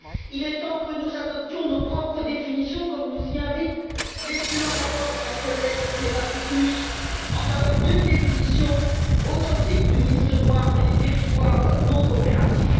Il est temps que nous adoptions nos propres définitions, comme nous y invite l'excellent rapport de ma collègue Kleva Kekuš en faveur d'une définition authentique d'une liste noire et des territoires non coopératifs.